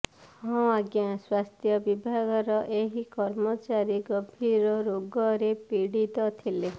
ହଁ ଆଜ୍ଞା ସ୍ୱାସ୍ଥ୍ୟବିଭାଗର ଏହି କର୍ମଚାରୀ ଗମ୍ଭୀର ରୋଗରେ ପୀଡିତ ଥିଲେ